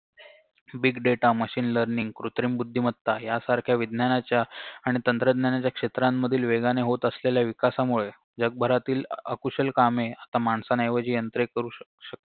big data machine learning कृत्रिम बुद्दीमत्ता यासारख्या विज्ञानाच्या आणि तंत्रज्ञानाच्या क्षेत्रांमधील वेगाने होत असलेल्या विकासामुळे जगभरातील अकुशल कामे आता माणसांऐवजी यंत्रे करू शक शक